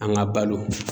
An ka balo